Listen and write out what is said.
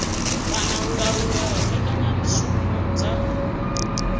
kana u laula mbekanyamushumo dza